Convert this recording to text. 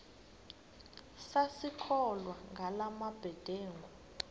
sisakholwa ngala mabedengu